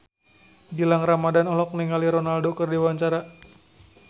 Gilang Ramadan olohok ningali Ronaldo keur diwawancara